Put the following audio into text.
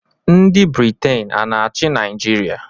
Ndị Briten a na-achị Naịjirịa?